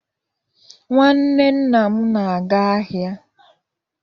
Nnwanne nna m na-aga ahịa.